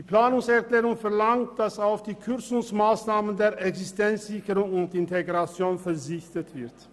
Die Planungserklärung verlangt, dass auf die Kürzungsmassnahme bei der Existenzsicherung und Integration zu verzichten ist.